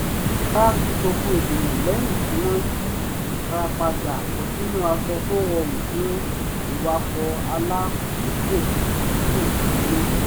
ara tu gbogbo ènìyàn lẹ́yìn tí wọ́n yíra padà bọ́ sínú aṣọ tó rọrùn fún ìwakọ̀ alákòókò gígùn délé